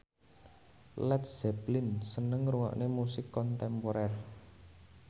Led Zeppelin seneng ngrungokne musik kontemporer